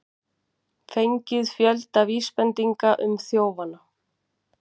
Fengið fjölda vísbendinga um þjófana